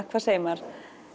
hvað segir maður